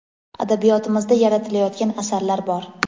Adabiyotimizda yaratilayotgan asarlar bor.